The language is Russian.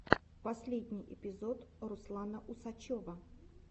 последний эпизод руслана усачева